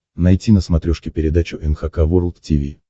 найти на смотрешке передачу эн эйч кей волд ти ви